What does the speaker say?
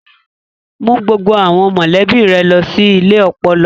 Mú gbogbo àwọn mọ̀lẹ́bí rẹ lọ sí ilé ọpọlọ.